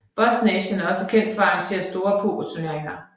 Buznation er også kendt for at arrangere store pokerturneringer